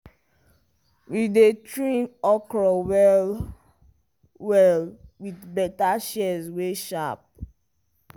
we dey trim okra well-well with better shears wey sharp.